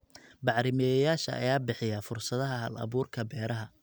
Bacrimiyeyaasha ayaa bixiya fursadaha hal-abuurka beeraha.